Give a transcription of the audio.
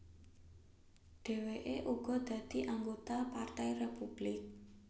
Dhèwèké uga dadi anggota Partai Républik